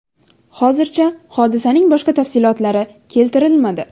Hozircha hodisaning boshqa tafsilotlar keltirilmadi.